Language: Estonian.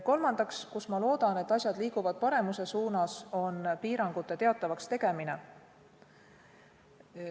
Kolmandaks, ma loodan, et asjad liiguvad paremuse suunas piirangutest teavitamisel.